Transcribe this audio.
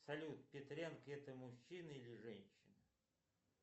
салют петренко это мужчина или женщина